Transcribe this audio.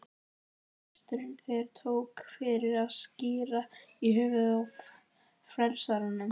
En presturinn þvertók fyrir að skíra í höfuðið á frelsaranum.